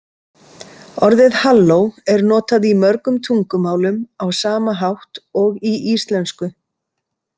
Orðið halló er notað í mörgum tungumálum á sama hátt og í íslensku.